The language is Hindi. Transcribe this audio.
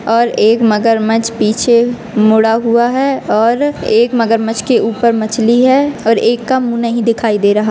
और एक मगरमच्छ पीछे मुडा हुआ है और एक मगरमच्छ के ऊपर मछली है और एक का मुँह नहीं दिखाई दे रहा।